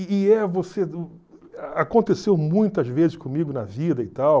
aconteceu muitas vezes comigo na vida e tal...